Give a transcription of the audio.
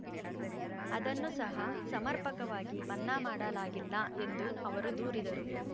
ಅದನ್ನು ಸಹ ಸಮರ್ಪಕವಾಗಿ ಮನ್ನಾ ಮಾಡಲಾಗಿಲ್ಲ ಎಂದು ಅವರು ದೂರಿದರು